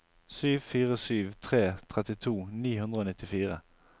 sju fire sju tre trettito ni hundre og nittifire